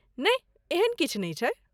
नहि, एहन किछु नै छै।